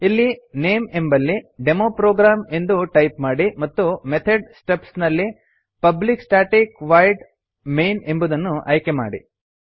ಇಲ್ಲಿ ನೇಮ್ ಎಂಬಲ್ಲಿ ಡೆಮೊಪ್ರೊಗ್ರಾಮ್ ಎಂದು ಟೈಪ್ ಮಾಡಿ ಮತ್ತು ಮೆಥಡ್ ಸ್ಟಬ್ಸ್ ನಲ್ಲಿ ಪಬ್ಲಿಕ್ ಸ್ಟಾಟಿಕ್ ವಾಯ್ಡ್ ಮೈನ್ ಎಂಬುದನ್ನು ಆಯ್ಕೆಮಾಡಿ